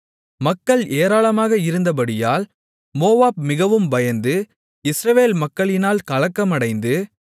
மக்கள் ஏராளமாக இருந்தபடியால் மோவாப் மிகவும் பயந்து இஸ்ரவேல் மக்களினால் கலக்கமடைந்து